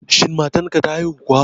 Shin matan ka ta haihu kuwa